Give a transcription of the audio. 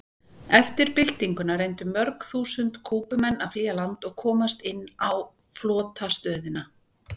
Eftir byltinguna reyndu mörg þúsund Kúbumenn að flýja land og komast inn á flotastöðina.